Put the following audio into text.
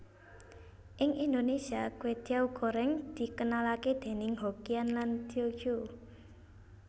Ing Indonesia kwetiau goreng dikenalake déning Hokkian lan Tio Ciu